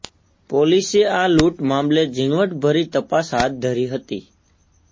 પોલીસે આ લૂંટ મામલે ઝીણવટભરી તપાસ હાથ ધરી હતી